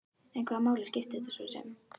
En hvaða máli skipti þetta svo sem?